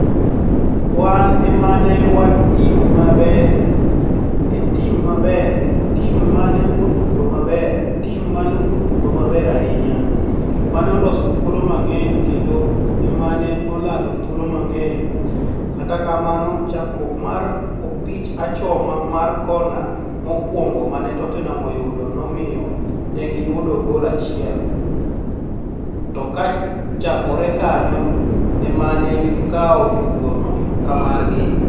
[Wan emane wan tim maber] ee tim maber, tim mane otugo maber, timu mane otugo maber ahinya, mane oloso thuolo mang'eny kendo emane olalo thuolo mang'eny, kata kamano chakruok mar mpich achoma mar kona mokuongo mane Tottenham oyudo nomiyo negi yudo gol achiel. To kochakore kanyo emanegi kawo tugo no kamargi.